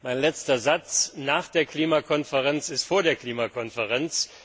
Mein letzter Satz Nach der Klimakonferenz ist vor der Klimakonferenz.